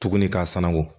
Tuguni k'a sanangɔ